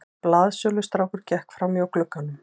Blaðsölustrákur gekk framhjá glugganum.